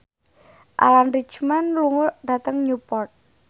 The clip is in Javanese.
Alan Rickman lunga dhateng Newport